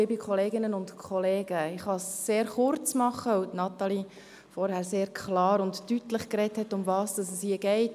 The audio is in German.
Ich kann es sehr kurz machen, weil Natalie Imboden vorher sehr klar und deutlich gesagt hat, worum es hier geht.